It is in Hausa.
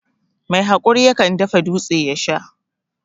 Mai hakuri yakan dafa dūtse ya Sha.